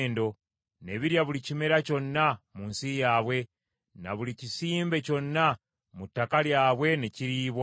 Ne birya buli kimera kyonna mu nsi yaabwe, na buli kisimbe kyonna mu ttaka lyabwe ne kiriibwa.